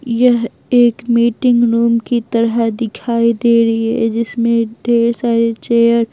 यह एक meeting room की तरह दिखाई दे रही है जिसमें ढेर सारे चेयर --